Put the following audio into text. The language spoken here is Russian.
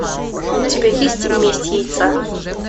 у тебя есть месть яйца